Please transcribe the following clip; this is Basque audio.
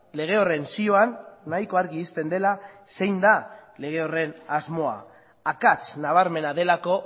lege horren zioan nahiko argi uzten dela zein da lege horren asmoa akats nabarmena delako